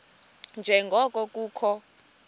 nje ngoko kukho